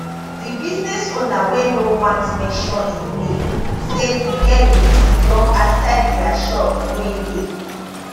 di business owner wey no want mention im name say di girl bin sidon outside dia shop wey dey